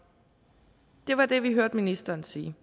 det var det vi hørte ministeren sige